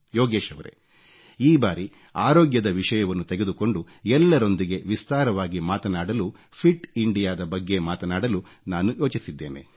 ಯೋಗೇಶ್ ರವರೇ ಈ ಬಾರಿ ಅರೋಗ್ಯದ ವಿಷಯವನ್ನು ತೆಗೆದುಕೊಂಡು ಎಲ್ಲರೊಂದಿಗೆ ವಿಸ್ತಾರವಾಗಿ ಮಾತನಾಡಲು ಫಿಟ್ ಇಂಡಿಯಾ ದ ಬಗ್ಗೆ ಮಾತನಾಡಲು ನಾನು ಯೋಚಿಸಿದ್ದೇನೆ